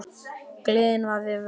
Gleðin var við völd.